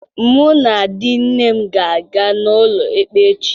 Mụ na di nne m ga-aga n'ụlọ ikpe echi.